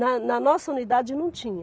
Na na nossa unidade não tinha.